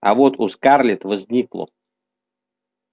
а вот у скарлетт возникло